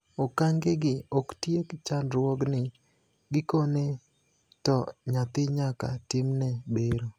Okangegi oktiek chandruogni, gikone to nyathi nyaka timne bero.